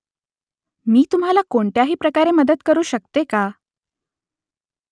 मी तुम्हाला कोणत्याही प्रकारे मदत करू शकते का ?